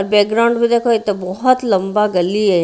Background में देखो ये तो बहुत लंबा गली है।